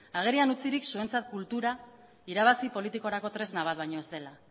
agerian utzirik zuentzat kultura irabazi politikorako tresna bat baino ez dela